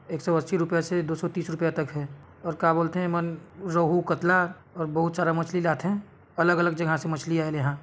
एक सौ अस्सी रूपया से दो सौ तीस रूपया तक हे और का बोलते है मन रोहू कतला और बहुत सारा मछली लात है अलग अलग जगह से मछली आय लेहा--